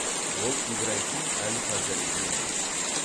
ол ибрахим әл фазаридің ұлы